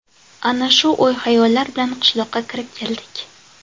Ana shu o‘y-xayollar bilan qishloqqa kirib keldik.